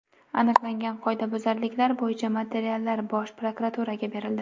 Aniqlangan qoidabuzarliklar bo‘yicha materiallar Bosh prokuraturaga berildi.